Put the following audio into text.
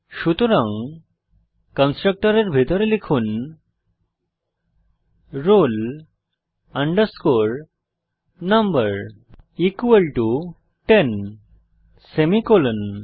সুতরাং কনস্ট্রাক্টরের ভিতরে লিখুন roll number equal to 10 semicolon